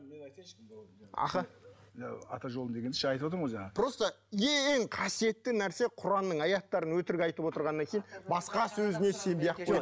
аха мынау ата жолы деген ше айтып отырмын ғой жаңа просто ең қасиетті нәрсе құранның аяттарын өтірік айтып отырғаннан кейін басқа сөзіне сенбей ақ қой